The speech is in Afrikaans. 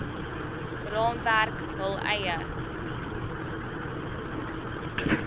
raamwerk hul eie